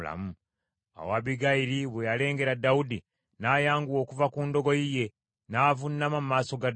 Awo Abbigayiri bwe yalengera Dawudi, n’ayanguwa okuva ku ndogoyi ye, n’avuunama mu maaso ga Dawudi.